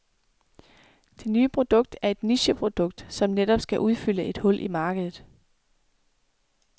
Det nye produkt er et nicheprodukt, som netop skal udfylde et hul i markedet.